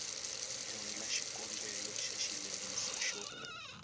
endla xikombelo xa xileriso xo